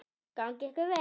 Gangi ykkur vel.